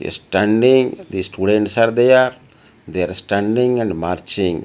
a standing the students are there they are standing and marching.